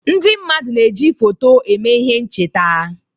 Ndị mmadụ na-eji foto eme ihe ncheta.